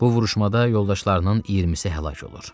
Bu vuruşmada yoldaşlarının 20-si həlak olur.